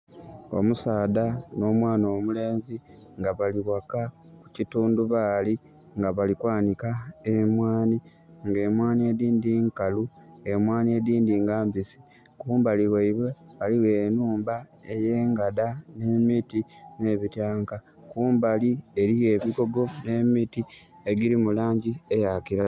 Omusaadha nho mwaana omulenzi nga bali ghaka ku kitundhubali nga bali kwanhika emwaani nga emwaani edindhi nkalu emwaani edindhi ga mbisi. Kumbali ghaibwe ghaligho enhumba eyengada, nhe miti nhe bityanka, kumbali eriyo ebigogo nhe miti egili mu langi eya kilagala.